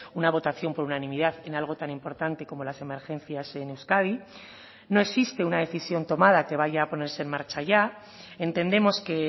una votación por unanimidad en algo tan importante como las emergencias en euskadi no existe una decisión tomada que vaya a ponerse en marcha ya entendemos que